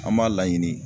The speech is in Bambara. An b'a laɲini